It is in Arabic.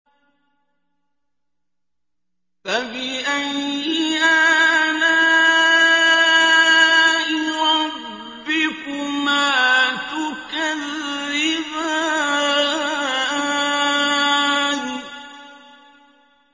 فَبِأَيِّ آلَاءِ رَبِّكُمَا تُكَذِّبَانِ